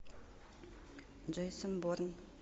джейсон борн